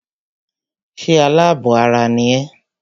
Ṣé alábọ̀ ara ni ẹ́?